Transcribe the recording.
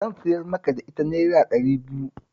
Zan siyar maka ita Naira ɗari biyu